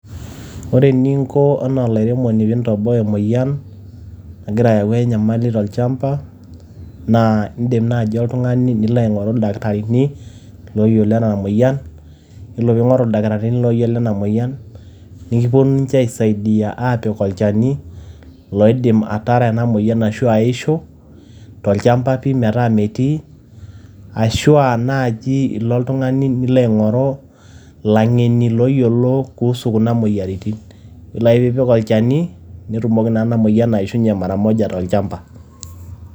Ore eninko enaa olairemoni pee intoboa e moyian nagira ayau enyamali tolchamba naa idim naaji oltung`ani nilo aing`oru ildakitarini ooyiolo ena moyian. Yiolo pee ing`oru ildakitarini ooyiolo ena moyian nikiponu aisaidia aapik olchani loidim atara ena moyian ashu aishu tolchamba metaa metii. Ashu naaji ilo oltung`ani nilo aing`oru ilang`eni ooyiolo kuhusu kuna moyiaritin. Yiolo ake pee ipik olchani netumoki naa ena moyian aishunye mara moja tolchamba.